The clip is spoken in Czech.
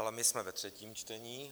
Ale my jsme ve třetím čtení.